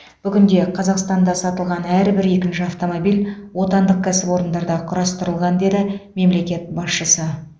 бүгінде қазақстанда сатылған әрбір екінші автомобиль отандық кәсіпорындарда құрастырылған деді мемлекет басшысы